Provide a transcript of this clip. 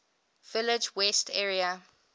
village west area